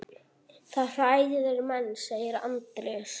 Það hræðir menn, segir Andrés.